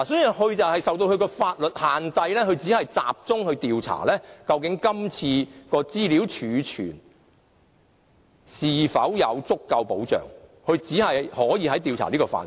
由於公署受到法律的限制，所以只能集中調查今次的資料儲存是否得到足夠的保障，只能調查這個範圍。